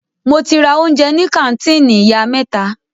Mo ti ra oúnjẹ ní kàńtìnì ìyá mẹ́ta.